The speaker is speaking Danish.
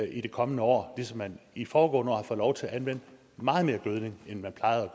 i det kommende år ligesom man i foregående år har fået lov til at anvende meget mere gødning end man plejede